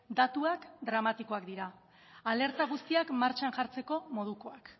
datuak dramatikoak dira alerta guztiak martxan jartzeko modukoak